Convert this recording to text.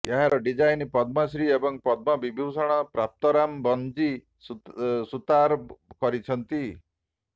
ଏହାର ଡିଜାଇନ୍ ପଦ୍ମଶ୍ରୀ ଏବଂ ପଦ୍ମ ବିଭୂଷଣ ପ୍ରାପ୍ତ ରାମ ବନ୍ଜୀ ସୁତାର କରିଛନ୍ତି